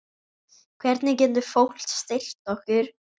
Hvernig getur fólk styrkt ykkur?